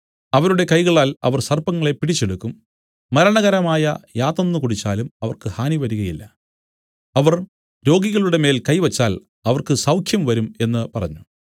അവരുടെ കൈകളാൽ അവർ സർപ്പങ്ങളെ പിടിച്ചെടുക്കും മരണകരമായ യാതൊന്നു കുടിച്ചാലും അവർക്ക് ഹാനി വരികയില്ല അവർ രോഗികളുടെമേൽ കൈവച്ചാൽ അവർക്ക് സൗഖ്യം വരും എന്നു പറഞ്ഞു